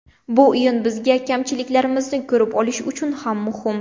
Bu o‘yin bizga kamchiliklarimizni ko‘rib olish uchun ham muhim.